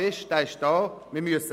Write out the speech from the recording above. Dort müssen wir hinschauen.